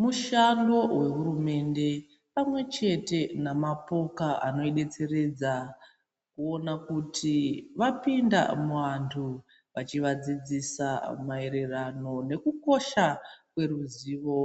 Mushando wehurumende pamwe chete namapoka anoidetseredza kuona kuti wapinda muantu wachiwadzidzisa maererano nekukosha kweruzivo